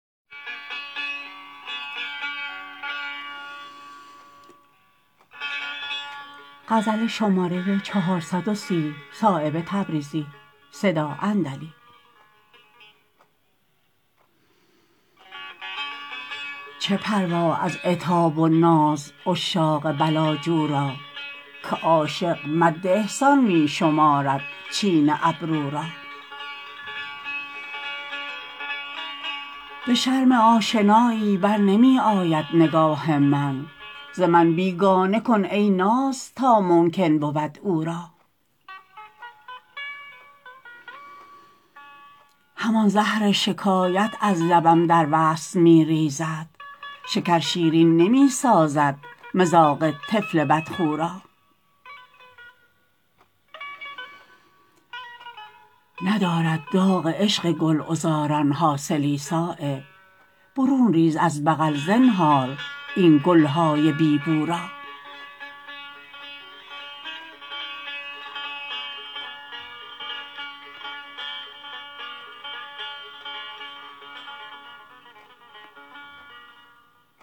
چه پروا از عتاب و ناز عشاق بلاجو را که عاشق مد احسان می شمارد چین ابرو را به شرم آشنایی برنمی آید نگاه من ز من بیگانه کن ای ناز تا ممکن بود او را همان زهر شکایت از لبم در وصل می ریزد شکر شیرین نمی سازد مذاق طفل بدخو را ندارد داغ عشق گلعذاران حاصلی صایب برون ریز از بغل زنهار این گلهای بی بو را